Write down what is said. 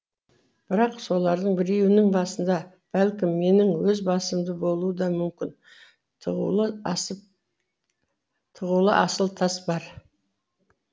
бірақ солардың біреуінің басында бәлкім менің өз басымда болуы да мүмкін тығулы асыл тас бар